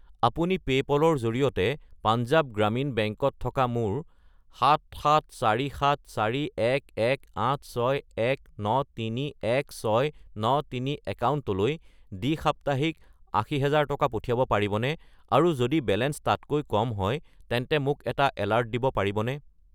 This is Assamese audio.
আপুনি পে'পল -ৰ জৰিয়তে পাঞ্জাৱ গ্ৰামীণ বেংক -ত থকা মোৰ 7747411861931693 একাউণ্টলৈ দ্বি-সাপ্তাহিক 80000 টকা পঠিয়াব পাৰিবনে আৰু যদি বেলেঞ্চ তাতকৈ কম হয় তেন্তে মোক এটা এলাৰ্ট দিব পাৰিবনে?